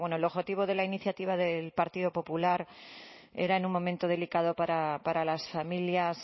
bueno el objetivo de la iniciativa del partido popular era en un momento delicado para las familias